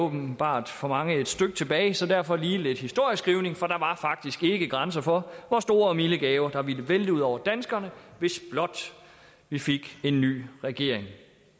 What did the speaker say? åbenbart for mange ligger et stykke tilbage så derfor lige lidt historieskrivning for der var faktisk ikke grænser for hvor store og milde gaver der ville vælte ud over danskerne hvis blot vi fik en ny regering